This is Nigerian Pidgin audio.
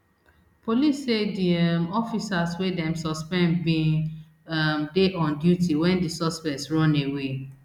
police say di um officers wey dem suspend bin um dey on duty wen di suspects run away